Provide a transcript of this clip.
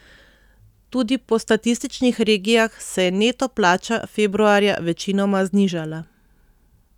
Tudi po statističnih regijah se je neto plača februarja večinoma znižala.